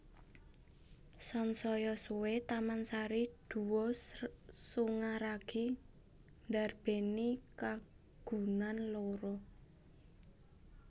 Sansaya suwé Taman Sari Guwa Sunyaragi ndarbèni kagunan loro